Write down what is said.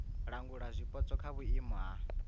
langula zwipotso kha vhuimo ha